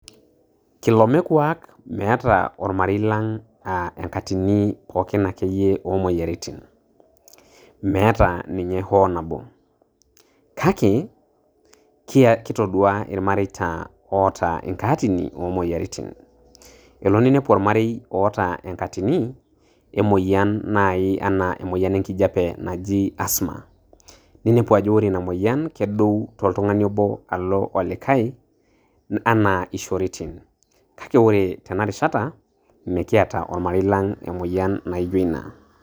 Kilome kwak meeta olmarei lang aa enkatini pooki akeyie omoyiaritin, meeta ninye hoo nabo, kake kia kitodua ilmareita oata enkatini omoyiaritin, elo ninepu olarei oata enkatini emoyian nai ena emoyian enkijape naaji asma neinepu ajo ore ina moyian na kedou toltungani oboo alo olikae ena ishoritin, kake ore tena rishata mikiata olmarei lang emoyian naijio ina.